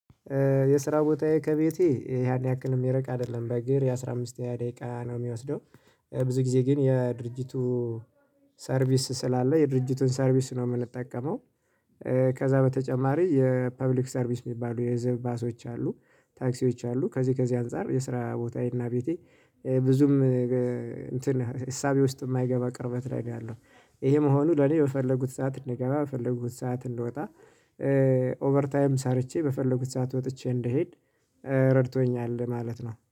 የስራ ቦታዬ ከቤቴ ያን ያክል የሚርቅ አይደለም በእግር የአሥራ አምስት ደቂቃ ነው የሚወስደው። ብዙ ጊዜ ግን የድርጅቱ ሰርቪስ ስላለ የድርጅቱን ሰርቪስ ነው የምንጠቀመው። ከዛ በተጨማሪ የፐብሊክ ሰርቪስ የሚባሉ የህዝብ ባሶች አሉ ታክሲዎች አሉ። ከዚህ ከዚህ አንፃር የስራ ቦታዬና ቤቴ ብዙም እንትን እሳቤ ውስጥ የማይገባ ቅርበት ላይ ነው ያለው። ይሄ መሆኑ ለኔ በፈለጉት ሰዓት እንድገባ በፈለጉት ሰዓት እንድወጣ ኦቨር ታይም ሰርቼ በፈለጉት ሰዓት ወጥቼ እንድሄድ ረድቶኛል ማለት ነው